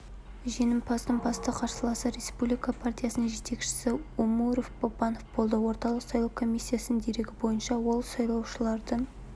жеңімпаздың басты қарсыласы республика партиясының жетекшісі омурбек бабанов болды орталық сайлау комиссиясының дерегі бойынша ол сайлаушылардың